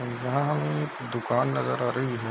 यहाँ हमे एक दुकान नजर आ रहीं है।